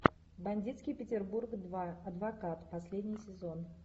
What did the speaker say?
бандитский петербург два адвокат последний сезон